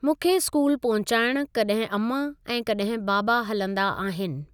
मूंखे स्कूल पहुंचाइण कॾहिं अमा ऐं कॾहिं बाबा हलंदा आहिनि।